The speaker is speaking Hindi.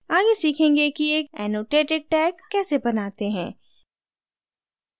आगे सीखेंगे कि एक annotated tag कैसे बनाते हैं